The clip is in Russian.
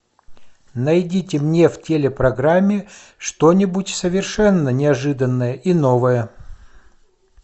найдите мне в телепрограмме что нибудь совершенно неожиданное и новое